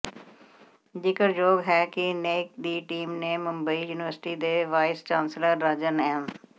ਜ਼ਿਕਰਯੋਗ ਹੈ ਕਿ ਨੈਕ ਦੀ ਟੀਮ ਨੇ ਮੁੰਬਈ ਯੂਨੀਵਰਸਿਟੀ ਦੇ ਵਾਈਸ ਚਾਂਸਲਰ ਰਾਜਨ ਐਮ